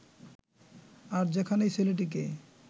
আর যেখানেই ছেলেটিকে